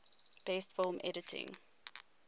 best film editing